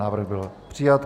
Návrh byl přijat.